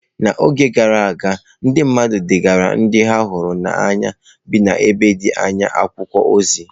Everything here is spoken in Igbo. N’oge gara aga, ndị mmadụ degaara ndị ha hụrụ n’anya bi n’ebe dị anya akwụkwọ ozi.